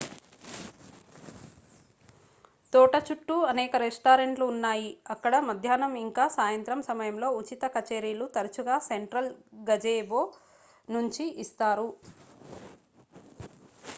తోట చుట్టూ అనేక రెస్టారెంట్లు ఉన్నాయి అక్కడ మధ్యాహ్నం ఇంక సాయంత్రం సమయంలో ఉచిత కచేరీలు తరచుగా సెంట్రల్ గజెబో నుంచి ఇస్తారు